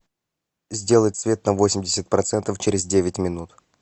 сделать свет на восемьдесят процентов через девять минут